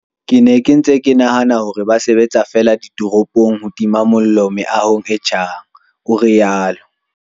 "Ke ne ke ntse ke nahana hore ba sebetsa feela ditoropong ho tima mollo meahong e tjhang," o rialo.